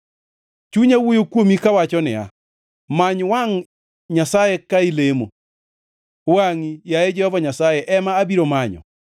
Chunya wuoyo kuomi kawacho niya, “Many wangʼ Nyasaye ka ilemo!” Wangʼi, yaye Jehova Nyasaye, ema abiro manyo.